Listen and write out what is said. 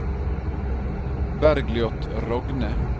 Bergljot Rogne